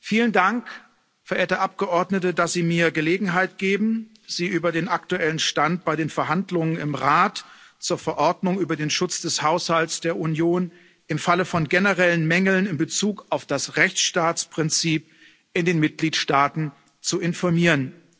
Vielen Dank, verehrte Abgeordnete, dass Sie mir Gelegenheit geben, Sie über den aktuellen Stand bei den Verhandlungen im Rat zur Verordnung über den Schutz des Haushalts der Union im Falle von generellen Mängeln in Bezug auf das Rechtsstaatsprinzip in den Mitgliedstaaten zu informieren.